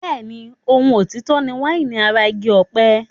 Bẹ́ẹ̀ni, ohun òtítọ́ ni wáìnì ara igi ọ̀pẹ.